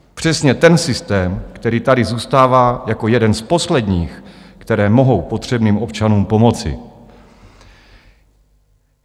Přesně ten systém, který tady zůstává jako jeden z posledních, které mohou potřebným občanům pomoci.